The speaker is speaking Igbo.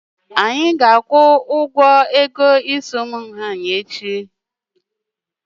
Anyị ga-akwụ ụgwọ ego isi echi.